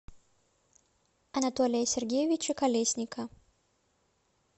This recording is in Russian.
анатолия сергеевича колесника